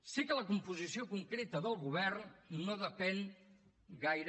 sé que la composició concreta del govern no depèn gaire